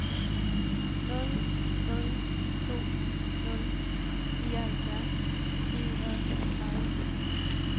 nul nul to nul nioghalvfjerds ni hundrede og femogtredive